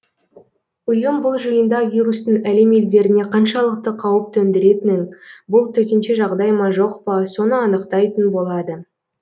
ұйым бұл жиында вирустың әлем елдеріне қаншалықты қауіп төндіретінін бұл төтенше жағдай ма жоқ па соны анықтайтын болады